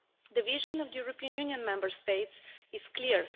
The vision of the European Union Member States is clear.